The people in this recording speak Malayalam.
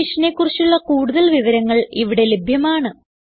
ഈ മിഷനെ കുറിച്ചുള്ള കുടുതൽ വിവരങ്ങൾ ഇവിടെ ലഭ്യമാണ്